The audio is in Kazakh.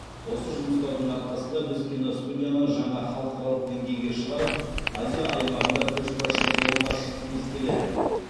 осы жұмыстардың арқасында біз киностудияны жаңа халықаралық деңгейге шығарып азия аймағында көшбасшы орынға шыққымыз келеді